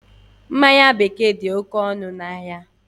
Mmanya bekee dị oké ọnụ ahịa